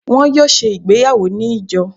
wọn yóò se ìgbéyàwó ni ijo.